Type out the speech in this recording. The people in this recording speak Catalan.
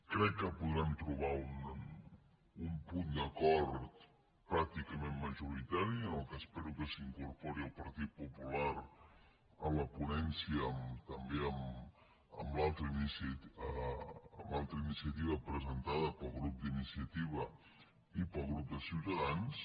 crec que podrem trobar un punt d’acord pràcticament majoritari i en el qual espero que s’incorpori el partit popular en la ponència també en l’altra iniciativa presentada pel grup d’iniciativa i pel grup de ciutadans